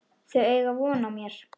Þau eiga von á mér.